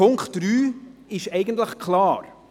Punkt 3 ist eigentlich klar.